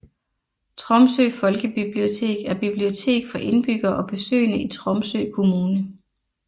Tromsø folkebibliotek er bibliotek for indbyggere og besøgende i Tromsø kommune